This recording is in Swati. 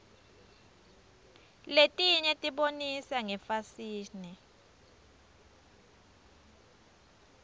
letinye tibonisa ngefasihni